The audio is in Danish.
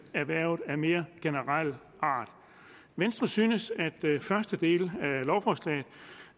erhvervene af mere generel art venstre synes at første del